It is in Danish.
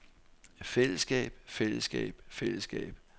fællesskab fællesskab fællesskab